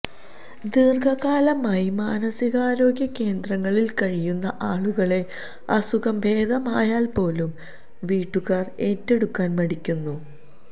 ദീര്ഘകാലമായി മാനസികാരോഗ്യ കേന്ദ്രങ്ങളില് കഴിയുന്ന ആളുകളെ അസുഖം ഭേദമയാല് പോലും വീട്ടുകാര് ഏറ്റെടുക്കാന് മടിക്കുന്നു